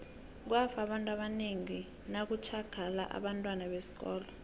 kwafa abantu abanengi ngo nakutjhagala abentwana besikolo